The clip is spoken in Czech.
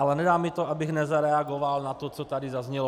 Ale nedá mi to, abych nezareagoval na to, co tady zaznělo.